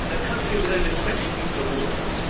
It is a country with over 20 nuclear warheads.